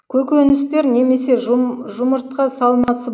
көкөністер немесе жұмыртқа салмасы